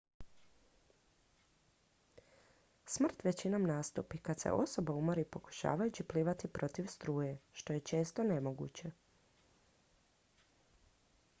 smrt većinom nastupi kad se osoba umori pokušavajući plivati protiv struje što je često nemoguće